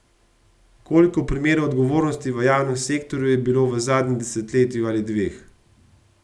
Koliko primerov odgovornosti v javnem sektorju je bilo v zadnjem desetletju ali dveh?